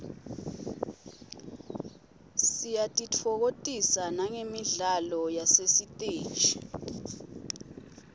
siyatitfokotisa nagemidlalo yasesiteji